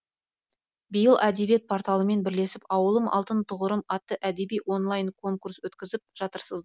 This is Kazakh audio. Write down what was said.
биыл әдебиет порталымен бірлесіп ауылым алтын тұғырым атты әдеби онлайн конкурс өткізіп жатырсыз